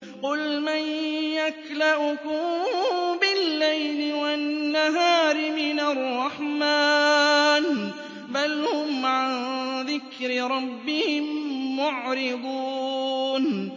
قُلْ مَن يَكْلَؤُكُم بِاللَّيْلِ وَالنَّهَارِ مِنَ الرَّحْمَٰنِ ۗ بَلْ هُمْ عَن ذِكْرِ رَبِّهِم مُّعْرِضُونَ